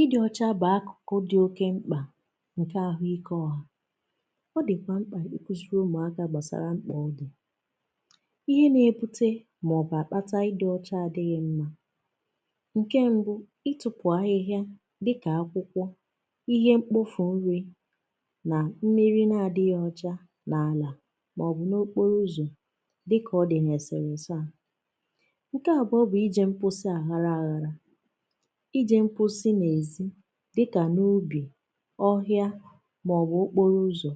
Ịdị ọcha bụ akụkụ dị oké mkpa nke ahụike ọ̀hà. Ọ dịkwa mkpa ịkụziri ụmụaka gbasara mkpa ọ dị. Ihe na-ebute maọbụ akpata ịdị ọcha adịghị mma bụ nke mbụ, ịtụpụ ahịhịa dịka akwụkwọ, ihe mkpofu nri maọbụ mmiri na-adịghị ọcha n'ala maọbụ n'okporo ụzọ dịka ọ dị n'eserese a. Nke abụọ bụ ije mposi aghara aghara. Ije mposi n'èzí dịka n'ubi, ọhịa maọbụ n'okporo ụzọ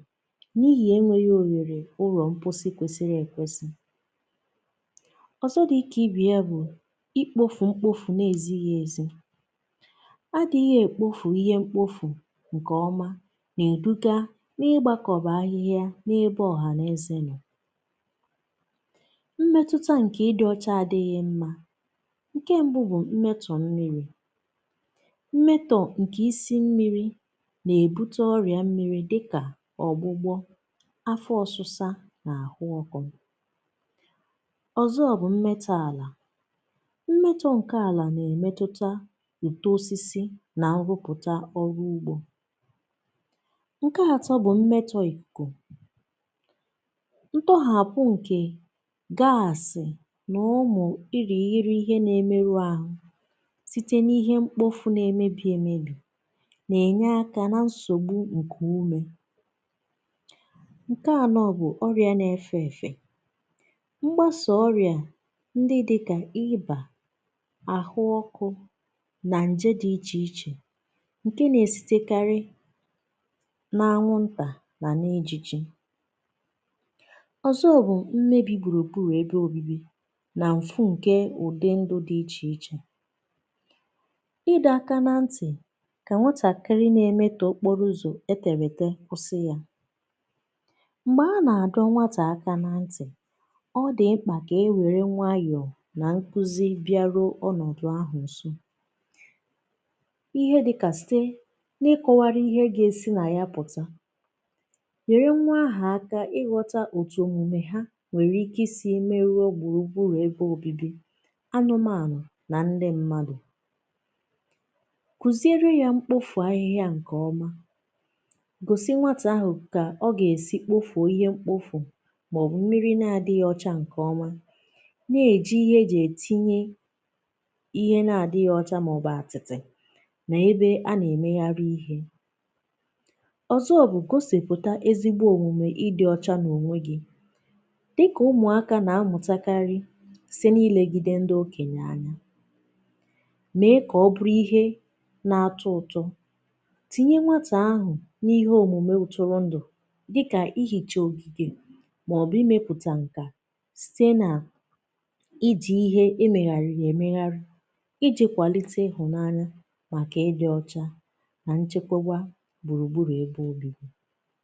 n'ihi enweghị ohere ụlọ mposi kwesịrị ekwesị. Ọzọ dị ka ibe ya bụ ikpofu mkpofu na-ezighị ezi. Adịghị na-ekpofu ihe mkpofu nke ọma na-eduga n'ịgbakọba n'ebe ọhaneze nọ. Mmetụta nke ịdị ọcha adịghị mma. Nke mbụ bụ mmetọ̀ mmiri. Mmetọ̀ nke isi mmiri na-ebute ọrịa mmiri dịka ọ̀gbụ́gbọ́, afọ ọsịsa na ahụ ọkụ. Ọzọ mmetọ ala. Mmetọ nke ala na-emetụta utó osisi na nrụpụta ọrụ ugbo. Nke atọ bụ mmetọ ikuku. Ntọhapụ nke gaasị na ụmụ irighiri ihe na-emerụ ahụ site n'ihe mkpofu na-emebi emebi na-enye aka na nsogbu nkuume. Nke anọ bụ ọrịa na-efe efe. Mgbasa ọrịa ndị dị ka ị́bà, ahụ ọkụ na nje dị iche iche ndị na-esitekarị n'anwụnta na n'ijiji. Ọzọ bụ mmebi gburugburu ebe obibi na mfu nke udi ndụ dị iche iche. Ịdọ aka ná ntị ka nwatakịrị na-emetọ okporo ụzọ e tere ete kwụsị ya. Mgbe a na-adọ nwata aka na ntị, ọ dị mkpa ka e were nwayọọ na nkuzi bịaruo ọnọdụ ahụ nso. Ihe dịka sị n'ịkọwaru ihe ga-esi na ya pụta, nyere nwa ahụ aka ịghọta etu omume ha nwere ike isi meruo gburugburu ebe obibi, anụmanụ na ndị mmadụ. Kụziere ya mkpofu ahịhịa nke ọma. Gosi nwata ahụ ka ọ ga-esi kpofu ihe mkpofu maọbụ mmiri na-adịghị ọcha nke ọma. Na-eji ihe e ji etinye ihe na-adịghị ọcha maọbụ atịtị na ebe a na-emegharị ihe. Ọzọ bụ gosipụta ezigbo omume ịdị ọcha n'onwe gị. Dị ka ụmụaka na-amụtakarị site n'ilegide ndị okenye anya. Mee ka ọ bụrụ ihe na-atọ ụtọ. Tinye nwata ahụ n'ihe omume ụtụrụndụ dịka ihicha ogige maọbụ ịmepụta nkà site na iji ihe emegharịrị emegharị iji kwalite ịhụnanya nke ịdị ọcha na nchekwaba gburugburu ebe obibi.